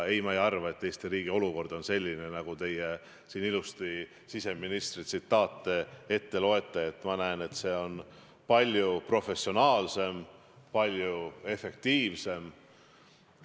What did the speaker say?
Ei, ma ei arva, et Eesti riigi olukord oleks selline, nagu teie siin ilusasti siseministri tsitaate kasutades ette lugesite, mina näen, et see on palju professionaalsem, palju efektiivsem.